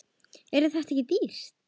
Yrði þetta ekki dýrt?